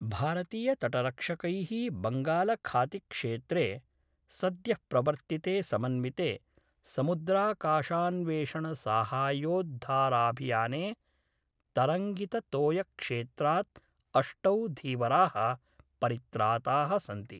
भारतीयतटरक्षकै: बंगालखातिक्षेत्रे सद्य: प्रवर्त्तिते समन्विते समुद्राकाशान्वेषणसाहाय्योद्धाराभियाने तरंगिततोयक्षेत्राद् अष्टौ धीवराः परित्राताः सन्ति।